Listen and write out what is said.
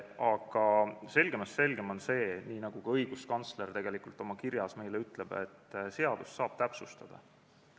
Aga selgemast selgem on see, nii nagu ka õiguskantsler oma kirjas meile ütleb, et seadust saab täpsustada.